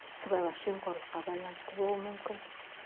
сыбайлас жерқорлыққа байланысты болуы мүмкін